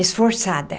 Esforçada.